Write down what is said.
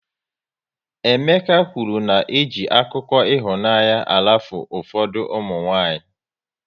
Emeka kwụrụ na eji akụkọ ịhụnanya arafu ụfọdụ ụmụnwanyị